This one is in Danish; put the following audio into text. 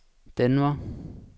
Denver